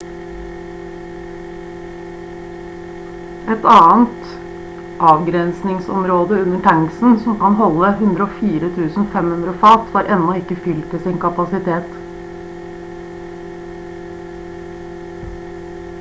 et annet avgrensningsområde under tanksene som kan holde 104 500 fat var ennå ikke fylt til sin kapasitet